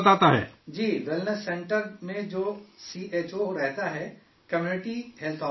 جی، wellness centre میں جو C H O رہتا ہے، کمیونٹی ہیلتھ آفیسر